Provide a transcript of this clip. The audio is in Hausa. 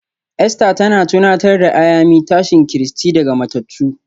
Easter tana tunatar da Ayami tashin Kristi daga matattu